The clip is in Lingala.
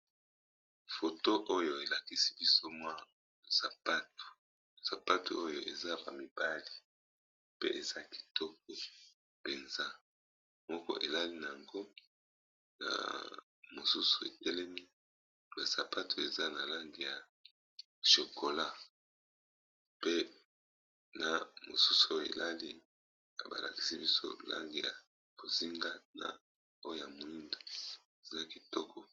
Foto oyo elakisi biso mwa sapatu oyo eza ya ba mibali pe eza kitoko penza, moko elali na yango na mosusu etelemi, pe sapatu eza na langi ya chokola pe na mosusu elali na ba lakisi biso langi ya bozinga na oya moindo eza kitoko